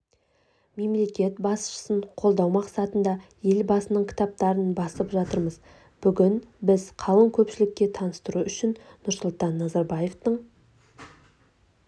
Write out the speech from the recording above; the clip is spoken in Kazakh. мемлекет басшысын қолдау масатында елбасының кітаптарын басып жатырмыз бүгін біз қалың көпшілікке таныстыру үшін нұрсұлтан назарбаевтың